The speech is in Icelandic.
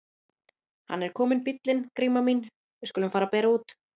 Hann er kominn bíllinn Gríma mín, við skulum fara að bera út.